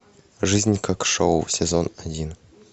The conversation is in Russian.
жизнь как шоу сезон один